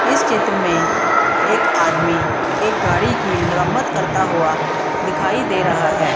इस चित्र में एक आदमी एक गाड़ी की मरम्मत करता हुआ दिखाई दे रहा है।